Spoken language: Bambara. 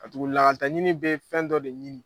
A tugu lakalitaɲini bɛ fɛn dɔ de ɲini